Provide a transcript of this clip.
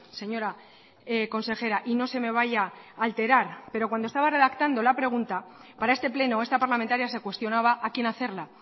señora consejera y no se me vaya a alterar pero cuando estaba redactando la pregunta para este pleno esta parlamentaria se cuestionaba a quién hacerla